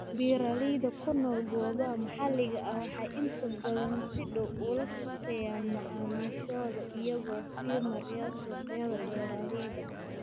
Beeralayda ku nool goobaha maxaliga ah waxay inta badan si dhow ula shaqeeyaan macaamiishooda iyagoo sii maraya suuqyada beeralayda.